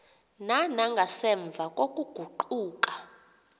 na nangasemva kokuguquka